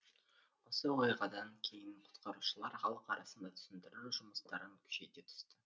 осы оқиғадан кейін құтқарушылар халық арасында түсіндіру жұмыстарын күшейте түсті